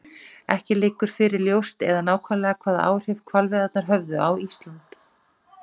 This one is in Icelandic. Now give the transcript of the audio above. Ekki liggur fyrir ljóst eða nákvæmlega hvaða áhrif hvalveiðarnar höfðu á Íslandi.